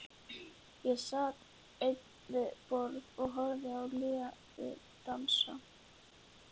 Ég sat ein við borð og horfði á liðið dansa.